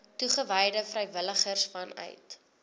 toegewyde vrywilligers vanuit